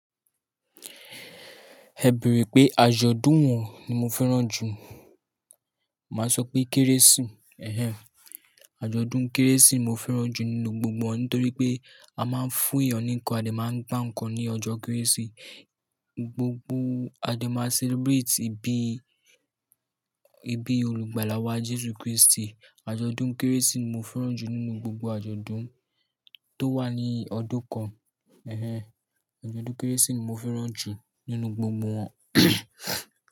Ẹ bèrè pé àjọ̀dún wọ̀n ni mo fẹ́ràn jù, màá sọ pé Kérésì. Ehen, àjọ̀dún Kérésì mo fẹ́ràn jù nínú gbogbo wọn nítorí pé a máa ń fún èèyàn ní nǹkan, a lè máa ń gba nǹkan ní ọjọ́ Kérésì. Gbogbo a dẹ máa celebrate ìbí, ìbí olùgbàlà wa Jesu Kristi. Àjọ̀dún Kérésì ni mo fẹ́ràn jù nínú gbogbo àjọ̀dún tó wà ní ọdún kan. Ehen, àjọ̀dún Kérésì ni mo fẹ́ràn jù nínú gbogbo wọn.